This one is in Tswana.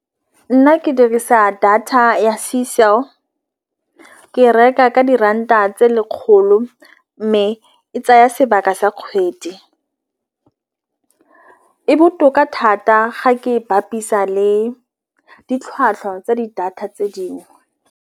Nna ke dirisa data ya ke e reka ka diranta tse lekgolo, mme e tsaya sebaka sa kgwedi. E botoka thata ga ke bapisa le ditlhwatlhwa tsa di data tse dingwe.